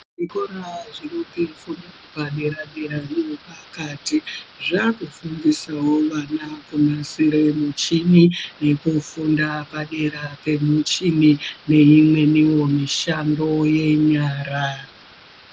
Zvikora zvine fundo yepadera -dera neyepakati zvaakufundisawo vana kunasira muchini yekufunda padera pemuchini neimweniwo mishando yenyara.